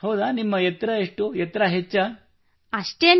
ಹೌದಾ ನಿಮ್ಮ ಎತ್ತರ ಎಷ್ಟು ಎತ್ತರ ಹೆಚ್ಚೇ